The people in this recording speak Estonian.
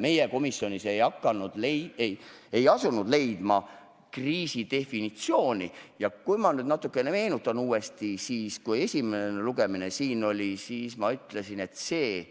Me komisjonis ei asunud otsima kriisi definitsiooni ja kui ma nüüd natukene meenutan, siis esimese lugemise ajal ma ütlesin, et see